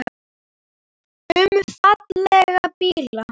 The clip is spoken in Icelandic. Um fallega bíla.